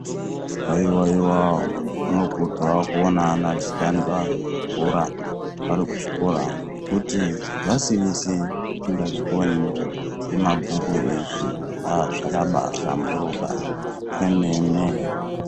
Haiwa iwa zvinokudzwa kuona ana achitamba bhora vari kuzvikora ngekuti nhasi wese usingazvikoni nemabhuku eshe aa zvakabaahlamburuka kwemene .